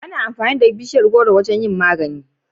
Ana amfani da bishiyar gworo wajen yin magani